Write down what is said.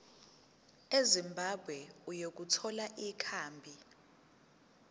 ezimbabwe ukuthola ikhambi